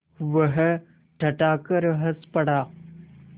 वह ठठाकर हँस पड़ा